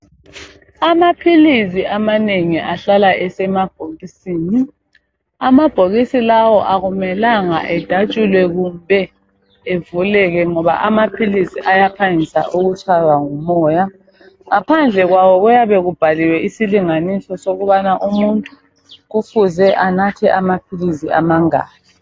Amaphilizi amanengi ahlala esemabhokisini amabhokisi lawa akumelanga edatshulwe kumbe evuleke ngoba amaphilizi ayaphangisa ukutshaywa ngumoya ngaphandle kwawo kubhaliwe isilinganiso sokubana umuntu kufuze anathe amaphilizi amangaki